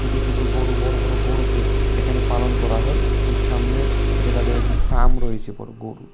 ছোট ছোট গরু বড় বড় গরুকে এখানে পালন করা হয় সামনে এনে তাদের একটি প্রায় রয়েছে বড় গোরুর।